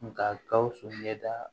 Nga gawusu ɲɛda